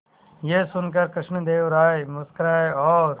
यह सुनकर कृष्णदेव राय मुस्कुराए और